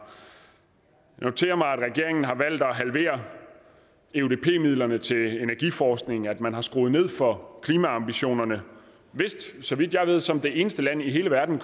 noterer mig at regeringen har valgt at halvere eudp midlerne til energiforskningen og at man har skruet ned for klimaambitionerne så vidt jeg ved som det eneste land i hele verden